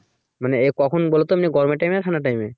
মানে এ কখন বলতো এমনি গরমের time এ না ঠান্ডার time এ